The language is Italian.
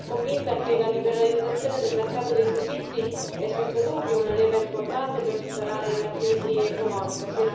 Sono convinta che la liberalizzazione del mercato dei servizi sia senza dubbio una leva importante per superare la crisi economica.